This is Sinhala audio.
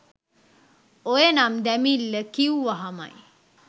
ඔය නම් දැමිල්ල කිව්වහමයි